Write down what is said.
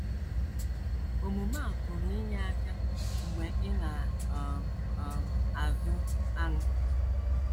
Omume a pụrụ inye aka mgbe ị na um - um azụ anụ.